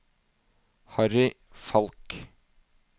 Harry Falch